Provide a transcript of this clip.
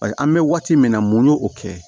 An bɛ waati min na mun ye o kɛ